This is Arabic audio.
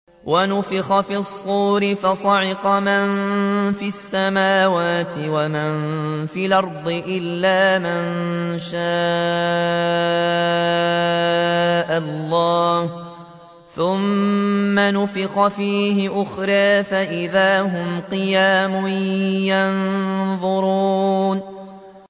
وَنُفِخَ فِي الصُّورِ فَصَعِقَ مَن فِي السَّمَاوَاتِ وَمَن فِي الْأَرْضِ إِلَّا مَن شَاءَ اللَّهُ ۖ ثُمَّ نُفِخَ فِيهِ أُخْرَىٰ فَإِذَا هُمْ قِيَامٌ يَنظُرُونَ